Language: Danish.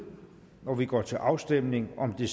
og vi går til afstemning om det